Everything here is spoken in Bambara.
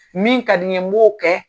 Min ka di n ye n b'o kɛ.